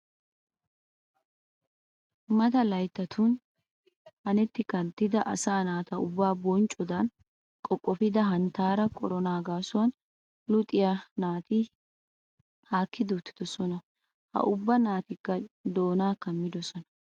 Mata layttatun hanetti kanttida asaa naata ubbaa bonccodan qoqqofida hanttaara koronaa gaasuwan luxiya naati haakkidi uttidosona. Ha ubba naatikka doonaa kammidosona.